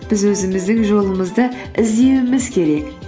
біз өзіміздің жолымызды іздеуіміз керек